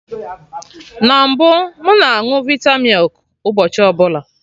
Na mbụ, m na añụ vita milk ụbọchị ọbụla